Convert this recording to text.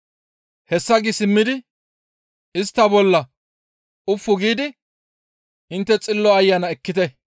Hessa gi simmidi istta bolla ufu giidi, «Intte Xillo Ayana ekkite.